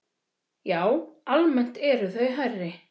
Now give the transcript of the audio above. Já, almennt eru þau hærri.